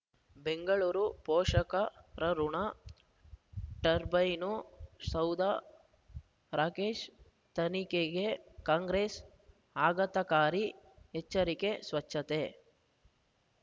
ಬೆಂಗಳೂರು ಪೋಷಕರಋಣ ಟರ್ಬೈನು ಸೌಧ ರಾಕೇಶ್ ತನಿಖೆಗೆ ಕಾಂಗ್ರೆಸ್ ಆಘಾತಕಾರಿ ಎಚ್ಚರಿಕೆ ಸ್ವಚ್ಛತೆ